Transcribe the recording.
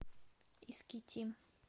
искитим